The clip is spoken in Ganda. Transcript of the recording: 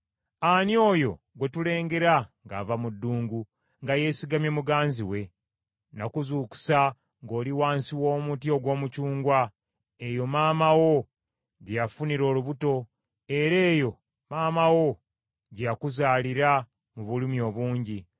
Ani oyo gwe tulengera ng’ava mu ddungu nga yeesigamye muganzi we? Omwagalwa Nakuzuukusa ng’oli wansi w’omuti ogw’omucungwa. Eyo maama wo gye yafunira olubuto era eyo maama wo gye yakuzaalira mu bulumi obungi.